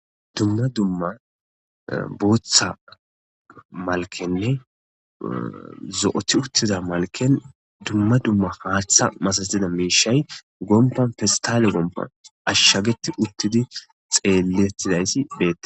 Dumma dumma buutha malkenne zo7othi uttiza malken dumma dumma haaththa masadida miishay gompan fistaale gompan ashshageti uttidi xeellettidaysi beea